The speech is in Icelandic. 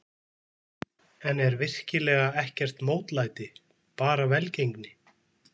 En er virkilega ekkert mótlæti, bara velgengni?